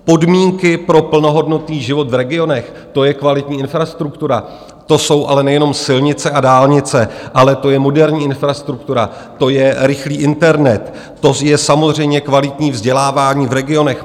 Podmínky pro plnohodnotný život v regionech, to je kvalitní infrastruktura, to jsou ale nejenom silnice a dálnice, ale to je moderní infrastruktura, to je rychlý internet, to je samozřejmě kvalitní vzdělávání v regionech.